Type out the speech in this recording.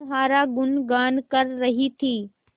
तुम्हारा गुनगान कर रही थी